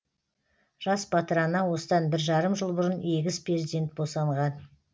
жас батыр ана осыдан бір жарым жыл бұрын егіз перзент босанған